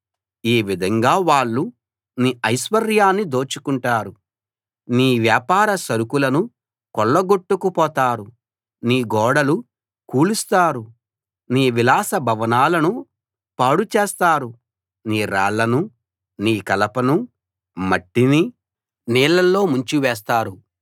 ఈ విధంగా వాళ్ళు నీ ఐశ్వర్యాన్ని దోచుకుంటారు నీ వ్యాపార సరుకులను కొల్లగొట్టుకుపోతారు నీ గోడలు కూలుస్తారు నీ విలాస భవనాలను పాడు చేస్తారు నీ రాళ్లనూ నీ కలపనూ మట్టినీ నీళ్లలో ముంచివేస్తారు